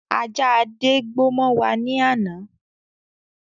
Ajá Adé gbó mọ wá ní ana.